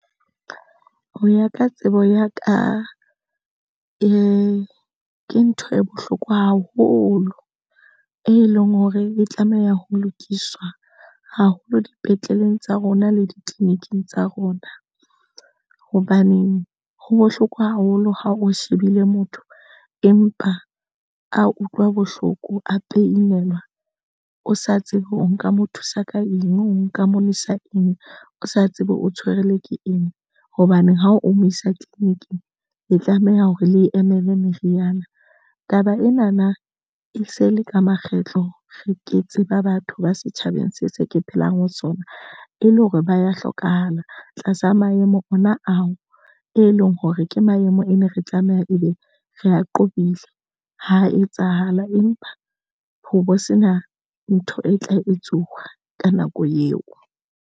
Ho ya ka tsebo ya ka, e, ke ntho e bohloko haholo, e leng hore e tlameha ho lokiswa haholo dipetleleng tsa rona le ditleliniking tsa rona. Hobaneng ha bohloko haholo ha o shebile motho empa a utlwa bohloko, a pain-elwa o sa tsebe o nka mo thusa ka eng, o nka mo nwesa eng, o sa tsebe o tshwerwe ke eng hobaneng ha o mo isa tleliniking e tlameha hore le emele meriana. Taba ena na e se le ka makgetlo re ke tseba batho ba setjhabeng se se ke phelang ho sona e le hore ba ya hlokahala tlasa maemo ana ao e leng hore ke maemo e ne re tlameha ebe re a qobile ho etsahala empa ho sena ntho e tla etsuwa ka nako eo.